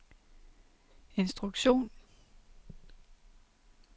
instruktion